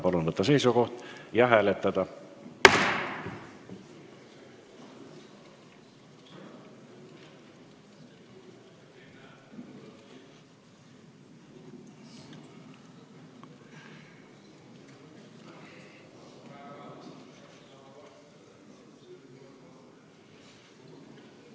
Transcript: Palun võtta seisukoht ja hääletada!